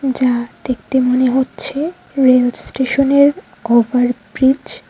যা দেখতে মনে হচ্ছে রেল স্টেশনের ওভার ব্রীজ ।